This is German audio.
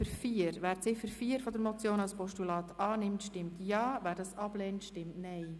Wer die Ziffer 4 der Motion als Postulat annimmt, stimmt Ja, wer dies ablehnt, stimmt Nein.